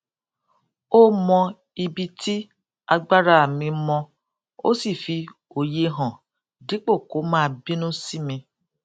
ó mọ ibi tí agbára mi mọ ó sì fi óye hàn dípò kó máa bínú sí mi